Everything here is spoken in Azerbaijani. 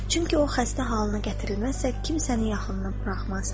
Çünki o xəstə halına gətirilməzsə, kimsəni yaxınına buraxmaz.